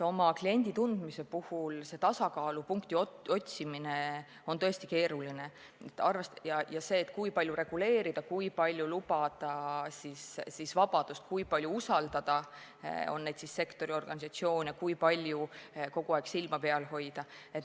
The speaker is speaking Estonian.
Kliendi tundmise puhul tasakaalupunkti otsimine on tõesti keeruline: kui palju reguleerida ja kui palju lubada vabadust, kui palju usaldada ja kui palju kogu aeg silma peal hoida.